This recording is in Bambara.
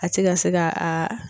A ti ka se ka a